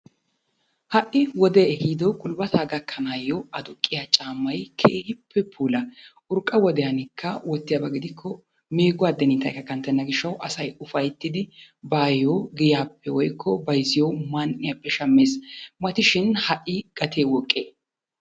Ha"i wodee ehiido gulbbataa gakkanaayo aduqqiya caammay keehippe puula. Urqqa wodiyanikka wottiyaaba gidikko meeguwa addiniitayikka kanttena gishshawu asay ufayittidi baayo giyaappe woyikko bayizziyo man'iyaappe shammes. Mati shin ha"i gatee woqqee?